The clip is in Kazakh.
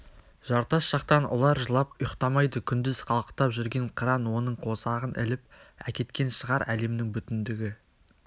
жартас жақтан ұлар жылап ұйықтамайды күндіз қалықтап жүрген қыран оның қосағын іліп әкеткен шығар әлемнің бүтіндігі